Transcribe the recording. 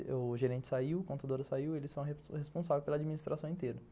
O gerente saiu, a contadora saiu, eles são responsáveis pela administração inteira.